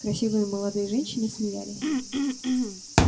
красивые молодые женщины смеялись